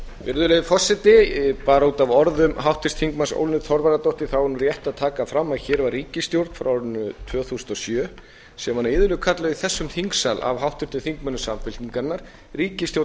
virðulegi forseti bara út af orðum háttvirts þingmanns ólínu þorvarðardóttur þá er rétt að taka fram að hér var ríkisstjórn frá árinu tvö þúsund og sjö sem var iðulega kölluð í þessum þingsal af háttvirtum þingmönnum samfylkingarinnar ríkisstjórn